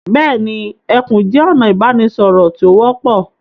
Bẹ́ẹ̀ni, ẹkún jẹ́ ọ̀nà ìbánisọ̀rọ̀ tí ó wọ́pọ̀.